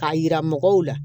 K'a yira mɔgɔw la